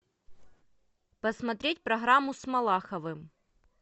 посмотреть программу с малаховым